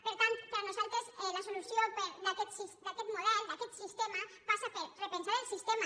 per tant per nosaltres la solució d’aquest model d’aquest sistema passa per repensar el sistema